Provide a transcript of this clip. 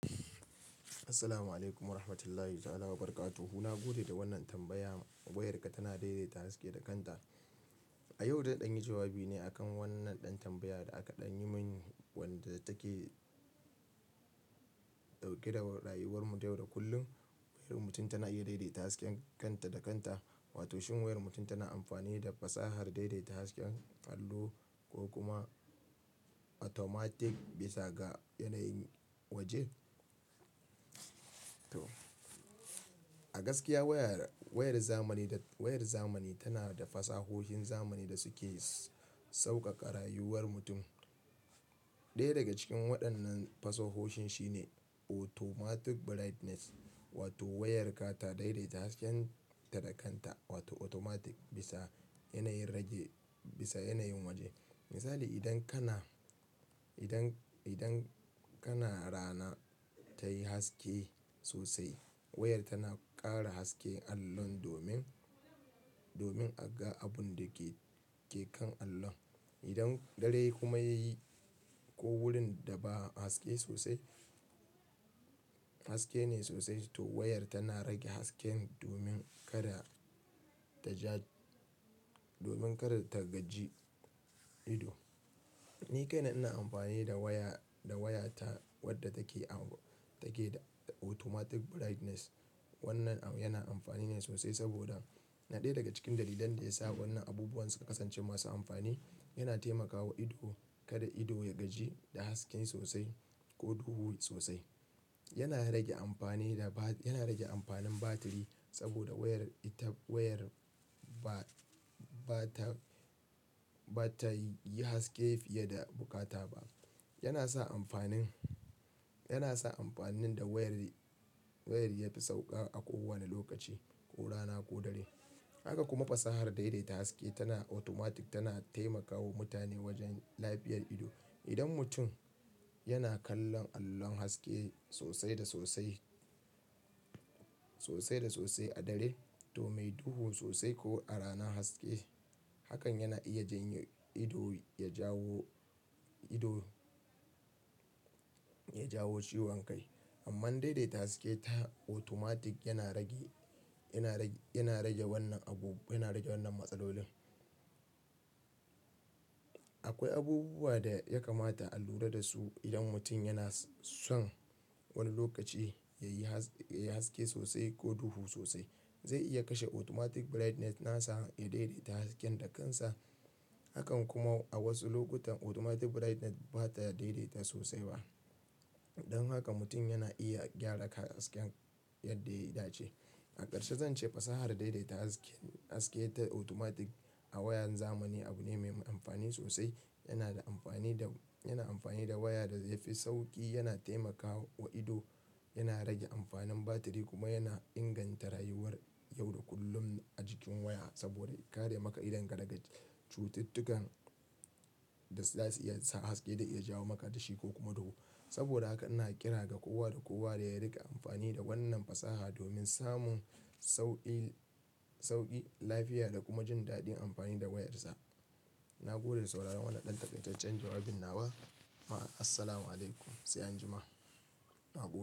Assalamu'alaikum warahmatullahi ta'ala wabarakatuh. Na gode da wannan tambaya. Wayarka tana daidaita haske da kanta. A yau zan ɗanyi jawabi ne akan wannan ɗan tambaya da aka ɗanyi mini wanda take ɗauke da rayuwar mu yau da kullum. Wayar mutum tana iya daidaita hasken kanta da kanta, wato shin wayar mutum tana amfani da fasahar daidaita hasken allo ko kuma automatic bisa ga yanayin waje? To, a gaskiya wayar, wayar zamani da, wayar zamani tana da fasahohin zamani da suke sauƙaƙa rayuwar mutum. Ɗaya daga cikin waɗannan fasahohin shine automatic brightness wato wayarka ta daidaita hasken ta da kanta wato automatic bisa yanayin rage, bisa yanayin waje. Misali idan kana, idan, idan kana rana tayi haske sosai, wayar tana ƙara haske allon domin, domin a ga abun da ke, ke kan allon. Idan dare kuma yayi ko wurin da ba haske sosai, haske ne sosai, to wayar tana rage hasken domin kada ta ja, domin kada ta gaji ido. Ni kaina ina amfani da waya, da waya ta wadda take am, take da automatic brightness. Wannan au yana amfani ne sosai saboda naɗe daga cikin dalilan da ya sa wannan abubuwan suka kasance masu amfani, yana taimakawa ido kada ido ya gaji da haske sosai ko duhu sosai. Yana rage amfani da ba, yana rage amfanin batiri saboda wayar itan, wayar ba, ba ta, ba ta yi haske fiye da bukata ba. Yana sa amfanin, yana sa amfanin da wayar, wayar yafi sauƙa a kowane lokaci, ko rana ko dare. Haka kuma fasahar daidaita haske tana automatic tana taimakawa mutane wajen lafiyar ido. Idan mutum yana kallon allon haske sosai da sosai, sosai da sosai a dare toh mai duhu sosai ko a rana haske, hakan yana iya jan yi, ido ya jawo ido ya jawo ciwon kai. Amman daidaita haske ta automatic yana rage, yana rage, yana rage wannan abu, yana rage wannan matsalolin. Akwai abubuwa da ya kamata a lura da su idan mutum yana son wani lokaci ya yi has, ya yi haske sosai ko duhu sosai. Zai iya kashe automatic brightness nasa ya daidaita hasken da kansa. Hakan kuma a wasu lokutan automatic brightness ba ta daidaita sosai ba. Don haka mutum yana iya gyara hasken yadda ya dace. A karshe zan ce fasahar daidaita haske, haske ta automatic a wayan zamani abu ne mai amfani sosai. Yana da amfani da, yana amfani da waya da zai fi sauƙi, yana taimakawa ido, yana rage amfanin batiri kuma yana inganta rayuwar yau da kullum a jikin waya saboda ya kare maka idonka daga cututtukan da za su iya sa haske da ya jawo maka tashi ko kuma duhu. Saboda haka ina kira ga kowa da kowa da ya riƙa amfani da wannan fasaha domin samun sauƙi, sauƙi, lafiya da kuma jin daɗin amfani da wayarsa. Na gode da sauraron wannan ɗan takaitaccen jawabin nawa. Ma assalamu alaikum. Sai anjima. Na goge.